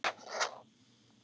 Er það góðs viti.